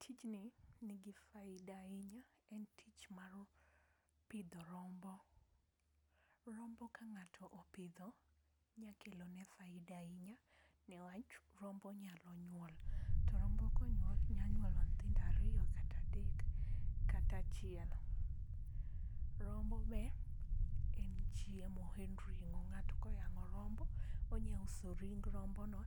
Tijni nigi faida ahinya, en tich mar pidho rombo . Rombo ka ngato opidho nya kelo ne faida ahinya niwach rombo nyalo nyuol to rombo konyuol nyalo nyuolo nyithindo ariyo, kata adek, kata achiel. Rombo be en chiemo en ringo ng'ato koyango rombo onya uso ring rombo no